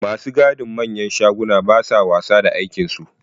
Ma su gadin manyan shagunan ba sa wasa da aikinsu.